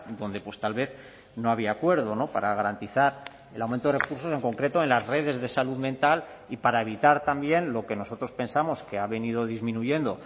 donde pues tal vez no había acuerdo para garantizar el aumento de recursos en concreto en las redes de salud mental y para evitar también lo que nosotros pensamos que ha venido disminuyendo